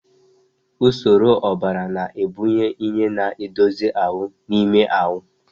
Usoro ọbara na-ebunye ihe na-edozi ahụ n'ime ahụ.